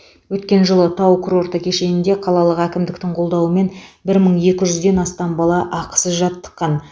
өткен жылы тау курорты кешенінде қалалық әкімдіктің қолдауымен бір мың екі жүзден астам бала ақысыз жаттыққан